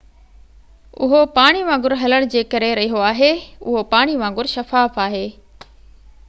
اهو پاڻي وانگر هلڻ جي ڪري رهيو آهي اهو پاڻي وانگر شفاف آهي